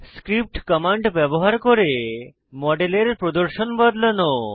script command ব্যবহার করে মডেলের প্রদর্শন বদলানো